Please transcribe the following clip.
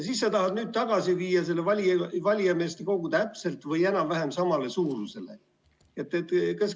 Aga nüüd sa tahad viia selle valijameeste kogu suuruse tagasi täpselt või enam-vähem samale tasemele.